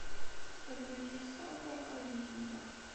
загрузи сага о викингах